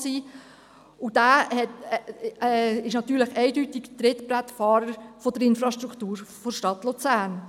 Dieser ist natürlich eindeutig Trittbrettfahrer der Infrastruktur der Stadt Luzern.